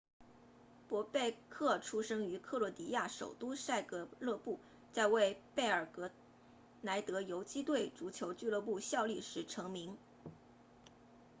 博贝克出生于克罗地亚首都萨格勒布在为贝尔格莱德游击队足球俱乐部效力时成名